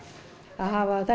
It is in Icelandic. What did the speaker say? að hafa þetta